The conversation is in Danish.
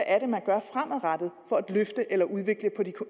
er man gør fremadrettet for at løfte eller skabe udvikling på de